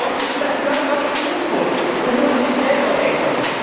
Sonst ist das blanker Egoismus und nur an sich selber denken.